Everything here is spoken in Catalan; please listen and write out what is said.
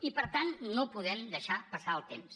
i per tant no podem deixar passar el temps